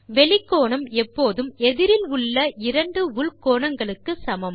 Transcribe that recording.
வெளிக்கோணம் எப்போதும் எதிரில் உள்ள இரண்டு உள் கோணங்களுக்கு சமம்